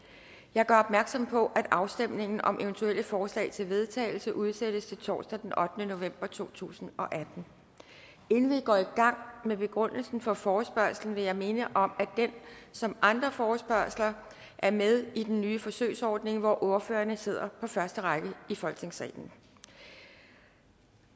jeg gør opmærksom på at afstemning om eventuelle forslag til vedtagelse udsættes til torsdag den ottende november to tusind og atten inden vi går i gang med begrundelsen for forespørgslen vil jeg minde om at den som andre forespørgsler er med i den nye forsøgsordning hvor ordførerne sidder på første række i folketingssalen